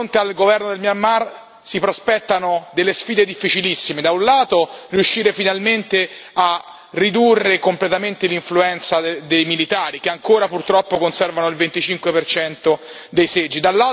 al governo del Myanmar si prospettano delle sfide difficilissime da un lato, riuscire finalmente a ridurre completamente l'influenza dei militari che ancora, purtroppo, conservano il 25 dei seggi